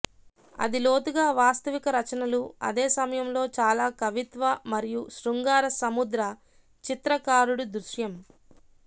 అది లోతుగా వాస్తవిక రచనలు అదే సమయంలో చాలా కవిత్వ మరియు శృంగార సముద్ర చిత్రకారుడు దృశ్యం